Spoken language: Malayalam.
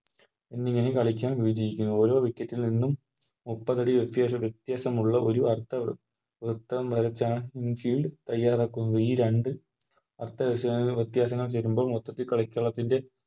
എന്നിങ്ങനെ കളിക്കാൻ ന്നത് ഓരോ വ്യക്തിക്കും ഇന്നും മുപ്പതടി വ്യത്യാസം വ്യത്യാസമുള്ള ഒരു അർഥ വൃത്തം വരചാണ് In field തയാറാക്കുന്നത് ഈ രണ്ട് അർത്ഥ വ്യത്യാസങ്ങൾ വരുമ്പോൾ മൊത്തത്തിൽ കളിക്കളത്തിൻറെ